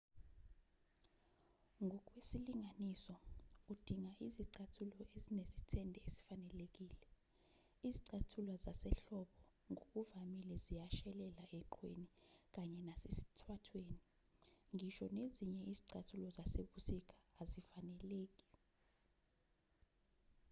ngokwesilinganiso udinga izicathulo ezinesithende ezifanelekile izicathulo zasehlobo ngokuvamile ziyashelela eqhweni kanye nasesithwathweni ngisho nezinye izicathulo zasebusika azifaneleki